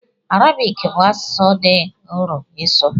Arabik bụ asụsụ dị nro ịsụ.